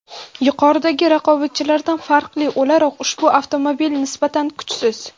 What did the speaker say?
Yuqoridagi raqobatchilardan farqli o‘laroq ushbu avtomobil nisbatan kuchsiz.